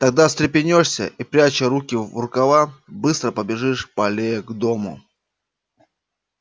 тогда встрепенёшься и пряча руки в рукава быстро побежишь по аллее к дому